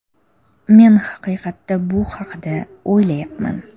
Men haqiqatda bu haqida o‘ylayapman.